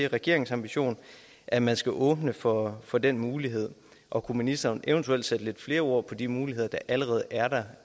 regeringens ambition at man skal åbne for for den mulighed og kunne ministeren eventuelt sætte lidt flere ord på de muligheder der allerede er der